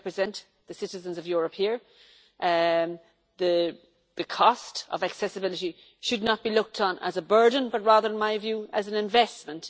We represent the citizens of Europe here and the cost of accessibility should not be looked upon as a burden but rather, in my view, as an investment